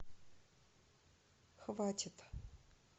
хватит